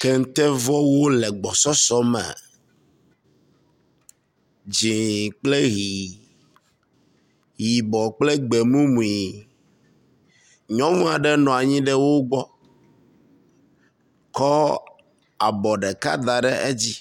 Kente vɔwo le gbɔsɔsɔ me, dzɛ̃kple ʋi, yibɔ kple gbe mumui. Nyɔnua ɖe nɔa nyi ɖe wo gbɔ kɔ abɔ ɖeka da ɖe edzi,